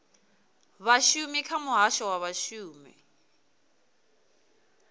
vhashumi kha muhasho wa vhashumi